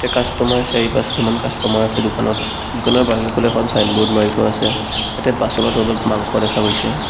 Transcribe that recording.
Customer চাৰি-পাঁচটামান customer আছে দোকানত দোকানৰ বাহিৰৰফালে এখন ছাইনব'ৰ্ড মাৰি থোৱা আছে ইয়াতে বাচনৰ তলত মাংস দেখা গৈছে।